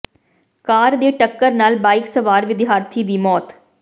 ਕਾਰ ਦੀ ਟੱਕਰ ਨਾਲ ਬਾਈਕ ਸਵਾਰ ਵਿਦਿਆਰਥੀ ਦੀ ਮੌਤ